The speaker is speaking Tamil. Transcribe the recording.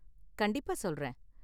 கண்டிப்பா, சொல்றேன்.